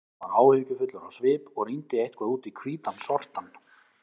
Hann var áhyggjufullur á svip og rýndi eitthvað út í hvítan sortann.